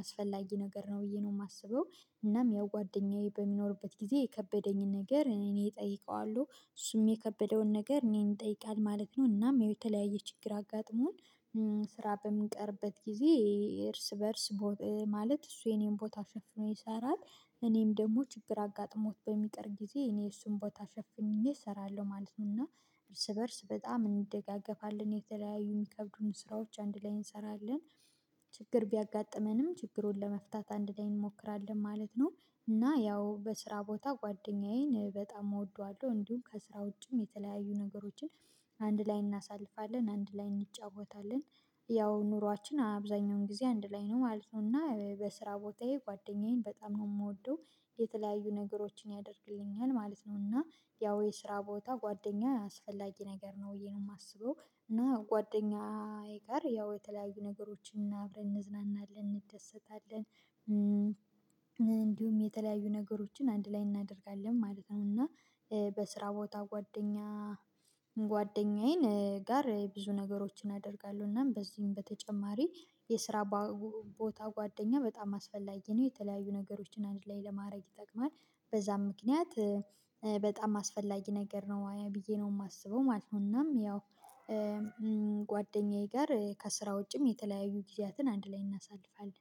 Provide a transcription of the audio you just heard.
አስፈላጊ ነገር ነው ብዬ ነው የማስበው። እናም ያው ጓደኛዬ በሚኖርበት ጊዜ የከበደኝን ነገር እኔ እጠይቀዋለሁ እሱም የከበደውን ነገር እኔን ይጠይቃል ማለት ነው። እናም የተለያየ ችግር አጋጥሞን ስራ በምን ቀርበት ጊዜ እርስ በእርስ ማለት እሱ የኔን ቦታ ሸፍኖ ይሰራል። እኔም ደግሞ ችግር አጋጥሞት በሚቀር ጊዜ እኔ እሱን ቦታ ሸፍኜ እሰራለሁ ማለት ነውና። እርስ በእርስ በጣም እንደጋገፋለን የተለያዩ የሚከብዱን ስራዎች አንድ ላይ እንሰራለን። ችግር ቢያጋጥመንም ችግሩን ለመፍታት አንድ ላይ እንሞክራለን ማለት ነው። እና ያው በስራ ቦታ ጓደኛዬን በጣም እወደዋለሁ እንዲሁም ከስራ ውጪም የተለያዩ ነገሮችን አንድ ላይ እናሳልፋለን አንድ ላይ እንጫወታለን። ያው ኑሯችን አብዛኛውን ጊዜ አንድ ላይ ነው ማለት ነው እና በስራ ቦታዬ ጓደኛዬን በጣም ነው የምወደው። የተለያዩ ነገሮችን ያደርግልኛል ማለት ነውና ያው የስራ ቦታ ጓደኛ አስፈላጊ ነገር ነው ብየ ነው የማስበው። እና ጓደኛዬ ጋር ያው የተለያዩ ነገሮችን አብረን እንዝናናለን እንደሰታለን እንዲሁም የተለያዩ ነገሮችን አንድ ላይ እናደርጋለን ማለት ነው። እና በስራ ቦታ ጓደኛ ጓደኛዬን ጋር ብዙ ነገሮችን አደርጋለሁ እናም በዚህም በተጨማሪ የስራ ቦታ ጓደኛ በጣም አስፈላጊ ነው የተለያዩ ነገሮችን አንድ ላይ ለማድረግ ይጠቅማል። በዛም ምክንያት በጣም አስፈላጊ ነገር ነው ብዬ ነው የማስበው ማለት ነው። እናም ያው ጓደኛዬ ጋር ከስራ ውጪም የተለያዩ ጊዜያትን አንድ ላይ እናሳልፋለን